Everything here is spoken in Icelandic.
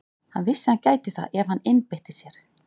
Hann vissi að hann gæti það ef hann einbeitti sér að því.